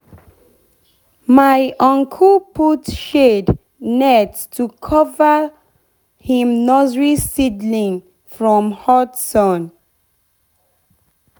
my uncle put shade net to cover him nursery seedling from hot sun.